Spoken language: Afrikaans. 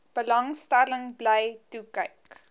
belangstelling bly toekyk